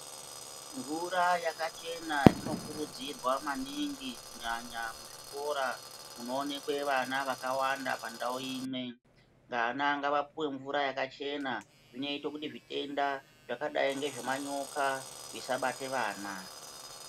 Mvura yakachena inokuridzirwa maningi kunyanya kuzvikora kunoonekwe vana vakawanda pandau imwe vana ngavapuwe mvura yakachena zvinoite kuti zvitenda zvakadai ngemanyoka zvisabate vana.